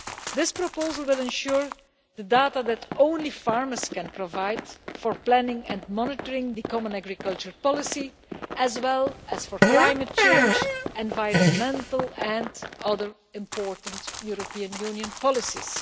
This proposal will ensure the availability of the data that only farmers can provide for planning and monitoring the common agricultural policy, as well as for climate change, environmental and other important European Union policies.